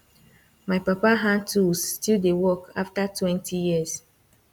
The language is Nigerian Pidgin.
my papa hand tools still dey work after twenty years